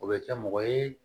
O bɛ kɛ mɔgɔ ye